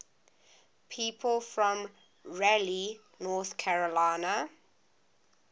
people from raleigh north carolina